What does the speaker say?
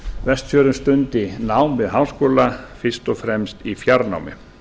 vestfjörðum stundi nám við háskóla fyrst og fremst í fjarnámi